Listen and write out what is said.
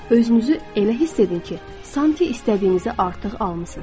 Özünüzü elə hiss edin ki, sanki istədiyinizi artıq almısınız.